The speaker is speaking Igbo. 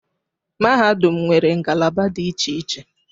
Mahadum nwere ngalaba dị iche iche